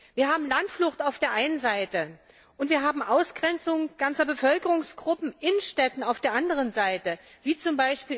Wir haben Landflucht auf der einen Seite, und wir haben die Ausgrenzung ganzer Bevölkerungsgruppen in Städten auf der anderen Seite, wie z.